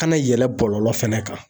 Kana yɛlɛn bɔlɔlɔ fana kan